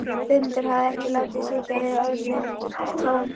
Guðmundur hafði ekki látið sitja við orðin tóm.